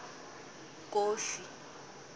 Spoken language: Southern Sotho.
kofi